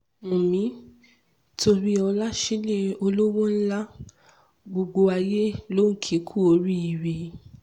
wumi toríọlá sílẹ̀ olówó ńlá gbogbo ayé ló ń kì í kú oríire